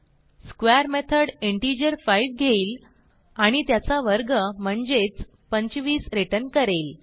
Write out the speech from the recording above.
square method integer 5 घेईल आणि त्याचा वर्ग म्हणजेच 25 रिटर्न करेल